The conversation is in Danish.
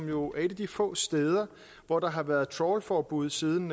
jo et af de få steder hvor der har været trawlforbud siden